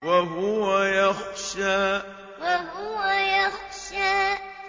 وَهُوَ يَخْشَىٰ وَهُوَ يَخْشَىٰ